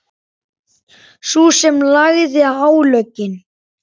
Sú sem lagði álögin?